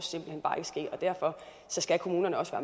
derfor skal kommunerne også